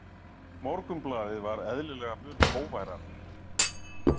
Morgunblaðið var eðlilega mun hógværara.